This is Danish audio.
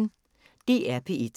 DR P1